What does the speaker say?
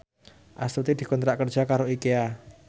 Astuti dikontrak kerja karo Ikea